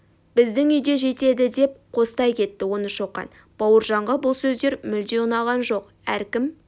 біздің үйде де жетеді деп қостай кетті оны шоқан бауыржанға бұл сөздер мүлде ұнаған жоқ әркім